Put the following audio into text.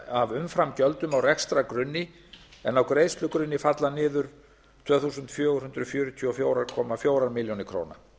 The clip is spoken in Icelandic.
af umframgjöldum á rekstrargrunni en á greiðslugrunni falla niður tvö þúsund fjögur hundruð fjörutíu og fjögur komma fjórum milljónum króna